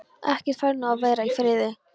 Ekkert fær nú að vera í friði!